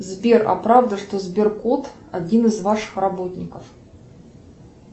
сбер а правда что сбер кот один из ваших работников